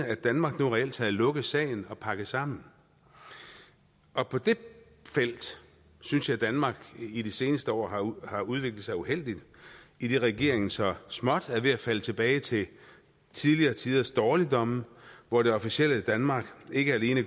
at danmark nu reelt har lukket sagen og pakket sammen på det felt synes jeg at danmark i de seneste år har år har udviklet sig uheldigt idet regeringen så småt er ved at falde tilbage til tidligere tiders dårligdomme hvor det officielle danmark ikke alene